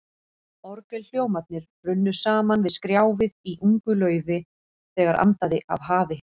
Orgelhljómarnir runnu saman við skrjáfið í ungu laufi, þegar andaði af hafi.